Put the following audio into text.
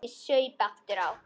Ég saup aftur á.